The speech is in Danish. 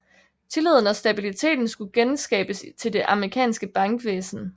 Tilliden og stabiliteten skulle genskabes til det amerikanske bankvæsen